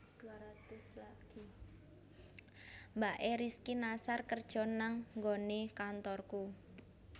Mbak e Rizky Nasar kerjo nang nggonane kantorku